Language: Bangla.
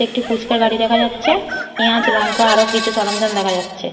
একটি ফুচকা গাড়ি দেখা যাচ্ছে পেঁয়াজ লঙ্কা আরো কিছু সরঞ্জাম দেখা যাচ্ছে।